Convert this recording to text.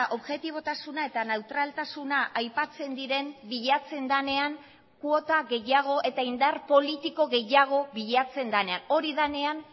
objetibotasuna eta neutraltasuna aipatzen diren bilatzen denean kuota gehiago eta indar politiko gehiago bilatzen denean hori denean